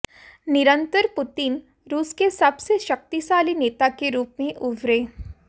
निरंतर पुतिन रूस के सबसे शक्तिशाली नेता के रूप में उभरे